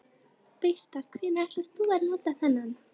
Birta: Hvenær ætlar þú að nota þennan?